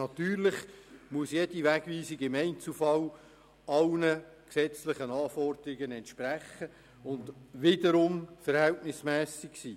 Natürlich muss jede Wegweisung im Einzelfall allen gesetzlichen Anforderungen entsprechen und wiederum verhältnismässig sein.